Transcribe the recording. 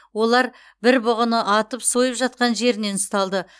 олар бір бұғыны атып сойып жатқан жерінен ұсталды